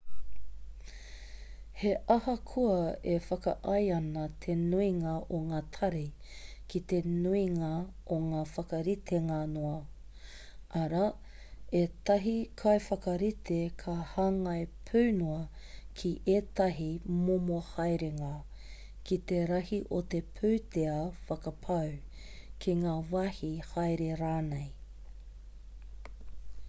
he ahakoa e whakaae ana te nuinga o ngā tari ki te nuinga o ngā whakaritenga noa arā ētahi kaiwhakarite ka hāngai pū noa ki ētahi momo haerenga ki te rahi o te pūtea whakapau ki ngā wāhi haere rānei